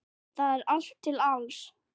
Þar er allt til alls.